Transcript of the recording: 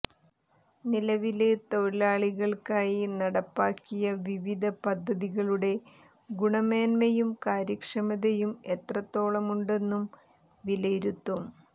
നിലവില് തൊഴിലാളികള്ക്കായി നടപ്പാക്കിയ വിവിധ പദ്ധതികളുടെ ഗുണമേന്മയും കാര്യക്ഷമതയും എത്രത്തോളമുണ്ടെന്നും വിലയിരുത്തും